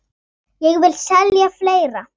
Og ég vil selja fleira.